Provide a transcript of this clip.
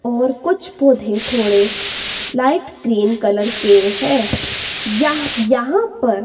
और कुछ पौधे थोड़े लाइट ग्रीन कलर के है। यहां पर--